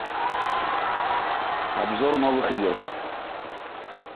обзор новых игр